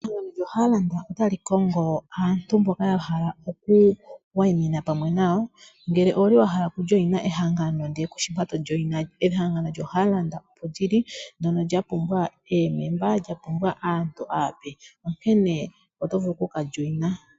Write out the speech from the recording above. Ehangano lyo Hollard ota li kongo aantu mboka ya hala okuwayimina oamwe nayo ngele owuli wa hala okuya mehangano ndele kushi mpa toyi. Ehangano lyo Hollard olyi li ndono lya pumbwa aantu aape, onkene oto vulu okuya mo.